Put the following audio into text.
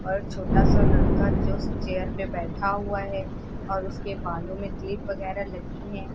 और छोटा सा लड़का जो उस चेयर पर बैठा हुआ है और उसके बालों में क्लिप वगैरह लगी हैं।